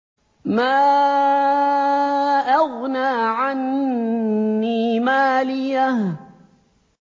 مَا أَغْنَىٰ عَنِّي مَالِيَهْ ۜ